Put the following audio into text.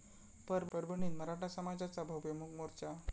परभणीत मराठा समाजाचा भव्य मूक मोर्चा